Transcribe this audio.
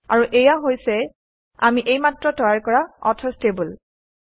আৰু এয়া হৈছে আমি এইমাত্ৰ তৈয়াৰ কৰা অথৰচ্ টেবুল